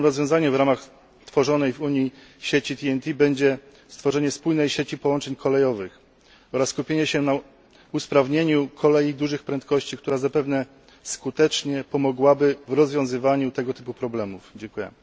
Dobrym rozwiązaniem w ramach tworzonej w Unii sieci TEN T będzie stworzenie wspólnej sieci połączeń kolejowych oraz skupienie się na usprawnieniu szybkobieżnej kolei, która zapewne skutecznie pomogłaby w rozwiązywaniu tego typu problemów. Dziękuję.